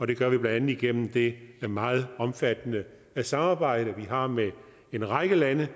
det gør vi blandt andet igennem det meget omfattende samarbejde som vi har med en række lande